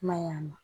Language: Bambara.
I ma ye a ma